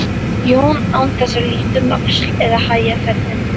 Jón án þess að líta um öxl eða hægja ferðina.